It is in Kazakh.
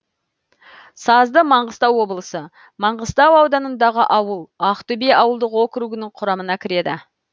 сазды маңғыстау облысы маңғыстау ауданындағы ауыл ақтөбе ауылдық округінің құрамына кіреді